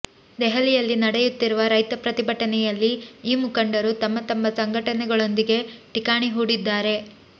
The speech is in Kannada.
ದೆಹಲಿಯಲ್ಲಿ ನಡೆಯತ್ತಿರುವ ರೈತ ಪ್ರತಿಭಟನೆಯಲ್ಲಿ ಈ ಮುಖಂಡರು ತಮ್ಮ ತಮ್ಮ ಸಂಘಟನೆಗಳೊಂದಿಗೆ ಠಿಕಾಣಿ ಹೂಡಿದ್ದಾರೆ